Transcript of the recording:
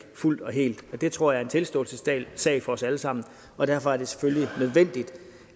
fuldt og helt og det tror jeg er en tilståelsessag for os alle sammen og derfor er det selvfølgelig nødvendigt